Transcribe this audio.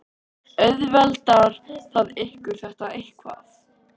Auðveldar það ykkur þetta eitthvað?